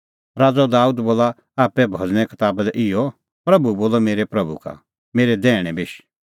राज़अ दाबेद बोला आप्पै भज़ने कताबा दी इहअ प्रभू बोलअ मेरै प्रभू का मेरै दैहणै बेश